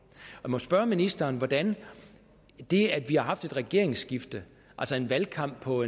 jeg må spørge ministeren hvordan det at vi har haft et regeringsskifte altså en valgkamp på